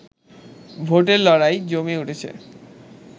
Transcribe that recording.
ভোটের লড়াই জমে উঠেছে